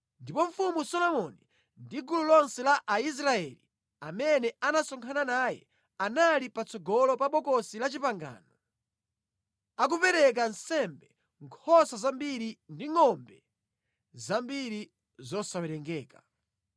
ndipo Mfumu Solomoni ndi gulu lonse la Aisraeli amene anasonkhana naye anali patsogolo pa Bokosi la Chipangano, akupereka nsembe nkhosa zambiri ndi ngʼombe zambiri zosawerengeka.